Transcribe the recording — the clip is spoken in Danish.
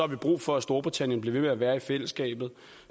vi brug for at storbritannien bliver ved med at være i fællesskabet